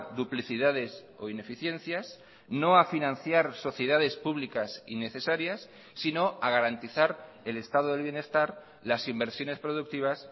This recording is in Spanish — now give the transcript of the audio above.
duplicidades o ineficiencias no a financiar sociedades públicas innecesarias sino a garantizar el estado del bienestar las inversiones productivas